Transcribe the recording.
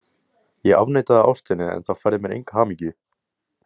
Ég afneitaði ástinni en það færði mér enga hamingju